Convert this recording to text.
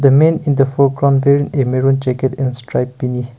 the man in the foreground wearing a maroon jacket and strip beanie.